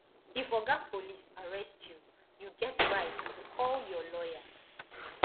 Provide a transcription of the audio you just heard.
if oga police arrest you you get right to call your lawyer